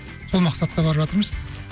сол мақсатта барып жатырмыз